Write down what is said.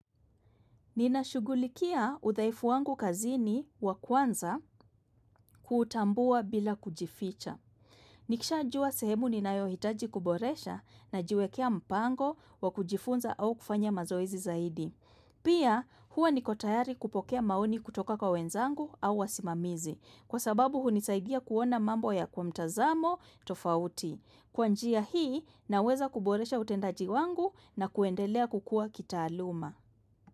Ninashugulikia udhaifu wangu kazini wa kwanza kutambua bila kujificha. Nikishajua sehemu ninayohitaji kuboresha najiwekea mpango wa kujifunza au kufanya mazoezi zaidi. Pia huwa niko tayari kupokea maoni kutoka kwa wenzangu au wasimamizi. Kwa sababu hunisaidia kuona mambo ya kwa mtazamo tofauti. Kwa njia hii naweza kuboresha utendaji wangu na kuendelea kukua kitaaluma.